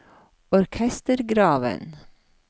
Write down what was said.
orkestergraven